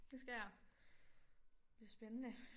Det skal jeg bliver spændende